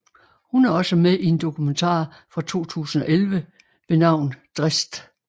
Hun er også med i en dokumentar fra 2011 ved navn Dressed